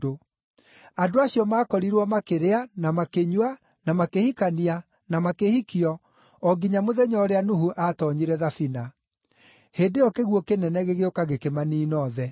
Andũ acio maakorirwo makĩrĩa, na makĩnyua, na makĩhikania, na makĩhikio, o nginya mũthenya ũrĩa Nuhu aatoonyire thabina. Hĩndĩ ĩyo kĩguũ kĩnene gĩgĩũka gĩkĩmaniina othe.